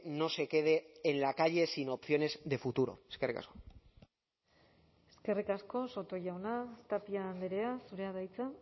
no se quede en la calle sin opciones de futuro eskerrik asko eskerrik asko soto jauna tapia andrea zurea da hitza